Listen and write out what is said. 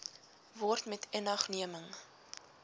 word met inagneming